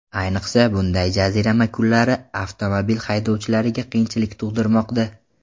Ayniqsa, bunday jazirama kunlar avtomobil haydovchilariga qiyinchilik tug‘dirmoqda.